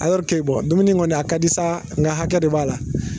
dumuni kɔni a ka di sa nka hakɛ de b'a la.